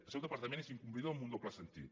el seu departament és incomplidor en un doble sentit